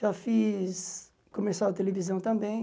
Já fiz comercial de televisão também.